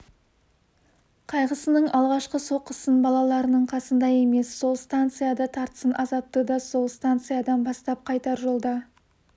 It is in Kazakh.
қайғысының алғашқы соққысын балаларының қасында емес сол станцияда тартсын азапты да сол станциядан бастап қайтар жолда